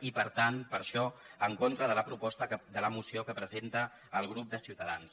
i per tant per això en contra de la moció que presenta el grup de ciutadans